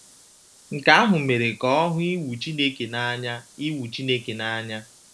Nke ahụ mere ka ọ hụ iwu Chineke n’anya iwu Chineke n’anya.